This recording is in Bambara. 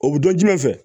O bɛ dɔn jumɛn fɛ